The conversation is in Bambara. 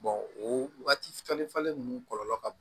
o wagati falen falen nunnu kɔlɔlɔ ka bon